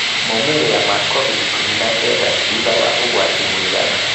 Moimĩrĩra wa COVID-19 thutha wa ũgwati (mũigana)